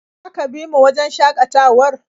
Za ka bi mu wajen shakatawar?